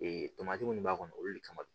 Ee tomati minnu b'a kɔnɔ olu de kama